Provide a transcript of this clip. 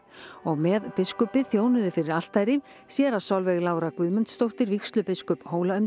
og með biskupi þjónuðu fyrir altari séra Solveig Lára Guðmundsdóttir vígslubiskup